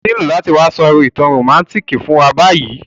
O nílo láti wa so ìtàn romantic fún wa bayi